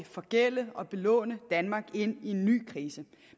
forgælde og belåne danmark ind i en ny krise